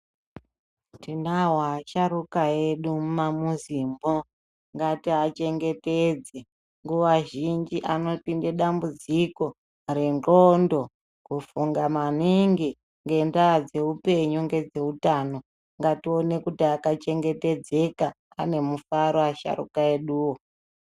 Tinowo asharuka edu mumamuzimwo ngatiachemgetedze nguwa zhinji anopiinde dambudziko rengondo kufunga maningi ngendaa dzeupenyu ngedzeutano ngatione kuti akachengetedzeka ane mufaro asharuka eduwo.